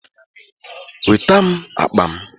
Weta m akpa m!